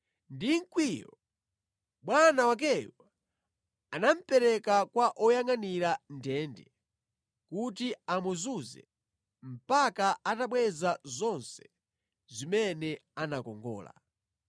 Ndi mkwiyo, bwana wakeyo anamupereka kwa oyangʼanira ndende kuti amuzuze mpaka atabweza zonse zimene anakongola.